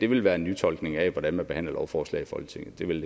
vil være en nytolkning af hvordan man behandler lovforslag i folketinget det vil